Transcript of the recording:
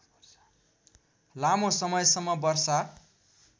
लामो समयसम्म वर्षा